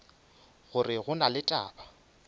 gore go na le taba